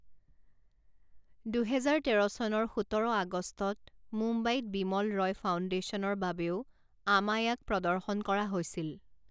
দুহেজাৰ তেৰ চনৰ সোতৰ আগষ্টত মুম্বাইত বিমল ৰয় ফাউণ্ডেশ্যনৰ বাবেও আমায়াক প্ৰদৰ্শন কৰা হৈছিল।